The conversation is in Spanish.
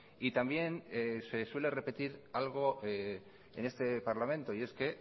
y también se suele repetir algo en este parlamento y es que